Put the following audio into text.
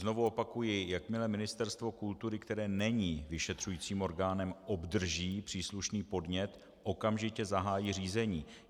Znovu opakuji, jakmile Ministerstvo kultury, které není vyšetřujícím orgánem, obdrží příslušný podnět, okamžitě zahájí řízení.